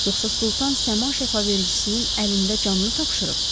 Yoxsa Sultan səma şəfavəricisinin əlində canını tapşırıb?